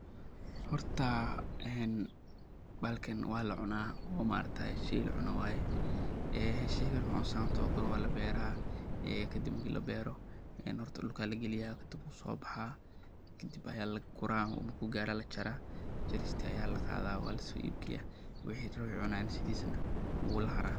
Horta bahalkan wa lacunaa ,waa khudaar cagaaran oo nafaqo badan leh, waxaana lagu beeri karaa si maxalli ah meelaha leh cimilo dhexdhexaad ah. Si beertu u guulaysato, waxaa muhiim ah in la doorto meel qorax leh oo leh ciid bacrin ah oo si fiican u biyo-mareysa. Carrada waa in la diyaariyaa iyadoo lagu darayo si ay u noqoto nafaqo badanwuna lahara.